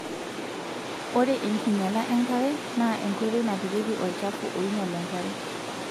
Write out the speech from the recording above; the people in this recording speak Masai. Ore enkinyiala enkare naa enkoitoi napikieki olchafu oinyial enkare.